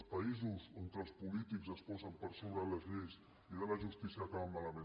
els països on els polítics es posen per sobre de les lleis i de la justícia acaben malament